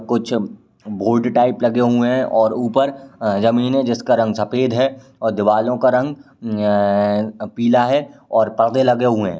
कुछ bolt type लगे हुए हैं और ऊपर अ जमीन है जिसका रंग सफेद है और दीवालों का रंग अ पीला है और परदे लगे हुए हैं।